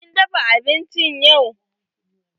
Kin dafa abinci yau?